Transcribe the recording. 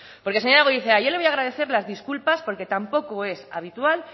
porque señora goirizelaia yo le voy a agradecer las disculpas porque tampoco es habitual